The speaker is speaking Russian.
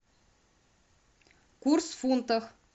курс в фунтах